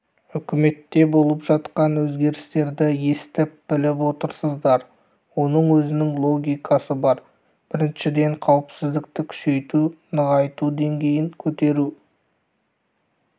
үкіметте болып жатқан өзгерістерді естіп-біліп отырсыздар оның өзінің логикасы бар біріншіден қауіпсіздікті күшейту нығайту деңгейін көтеру